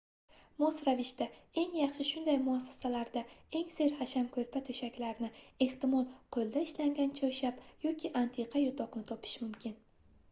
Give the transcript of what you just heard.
mos ravishda eng yaxshi shunday muassasalarda eng serhasham koʻrpa-toʻshaklarni ehtimol qoʻlda ishlangan choyshab yoki antiqa yotoqni topish mumkin